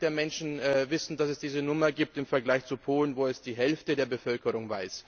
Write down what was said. der Menschen wissen, dass es diese Nummer gibt, im Vergleich zu Polen, wo es die Hälfte der Bevölkerung weiß.